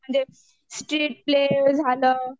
म्हणजे street play झालं